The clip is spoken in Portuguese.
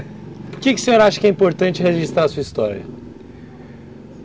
Por que o senhor acha que é importante registrar a sua história?